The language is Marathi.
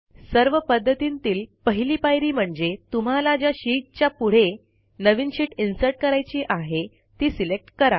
सर्व पध्दतींतील पहिली पायरी म्हणजे तुम्हाला ज्या शीटच्या पुढे नवीन शीट इन्सर्ट करायची आहे ती सिलेक्ट करा